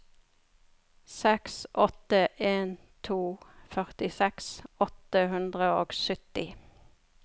seks åtte en to førtiseks åtte hundre og sytti